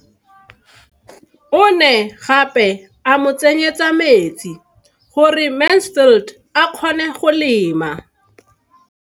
O ne gape a mo tsenyetsa metsi gore Mansfield a kgone go lema.